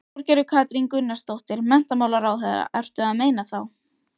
Þorgerður Katrín Gunnarsdóttir, menntamálaráðherra: Ertu að meina þá?